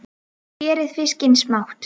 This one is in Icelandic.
Skerið fiskinn smátt.